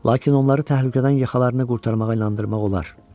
Lakin onları təhlükədən yaxalarını qurtarmağa inandırmaq olar.